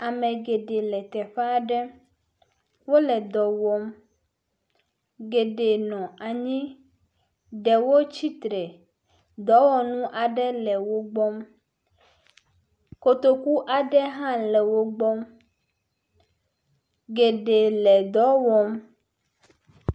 Ame geɖe le teƒe aɖe. Wole dɔ wɔm. Geɖe nɔ anyi. Ɖewo tsitre. Dɔwɔnu aɖe le wo gbɔ. Kotoku aɖe hã le wo gbɔ. Geɖe le dɔ wɔm.